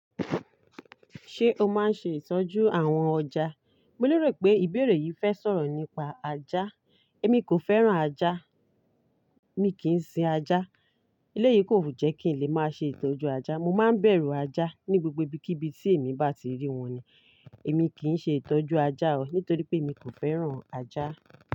Ṣé o máa ń ṣe ìtọ́jú àwọn ọjà? Mo lérò pé ìbéèrè yìí fẹ́ sọ̀rọ̀ nípa ajá. Èmi kò fẹ́ràn ajá. Mi kì n sin ajá. Éleyìí kòle jẹ́ kí n lè máa ṣe ìtọ́jú ajá. Mo máa ń bẹ̀rù ajá ní gbogbo ibikibi tí èmi bá ti rí wọn ni. Èmi kì n ṣe ìtọ́jú ajá o, nítorí pé èmi kò fẹ́ràn ajá.